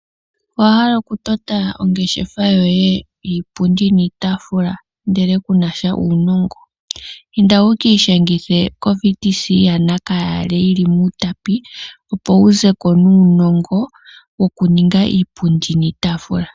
Owa hala okutota ongeshefa yoye yiipundi niitaafula., ndele ku na sha uunongo?, inda wu ki ishangithe koVTC yaNakayale yili mOutapi, opo wu ze ko nuunongo, wokuninga iipundi niitaafula .